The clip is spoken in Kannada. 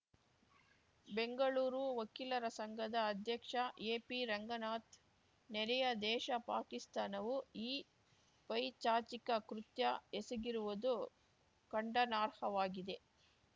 ಬೆಂಗಳೂರು ವಕೀಲರ ಸಂಘದ ಅಧ್ಯಕ್ಷ ಎಪಿರಂಗನಾಥ್‌ ನೆರೆಯ ದೇಶ ಪಾಕಿಸ್ತಾನವು ಈ ಪೈಶಾಚಿಕ ಕೃತ್ಯ ಎಸಗಿರುವುದು ಖಂಡನಾರ್ಹವಾಗಿದೆ